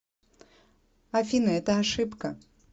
афина это ошибка